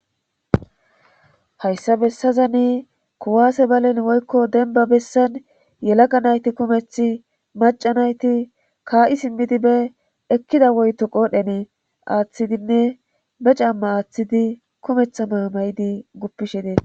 Hayssa bessazani kuwaase balen woykko denba bessan yelaga nayti kumeth maca nayti kaa7i simmidi be ekkida woyto qoodhene aaththidinne be camma aaththidi kumetha maamaydi guppishe dees.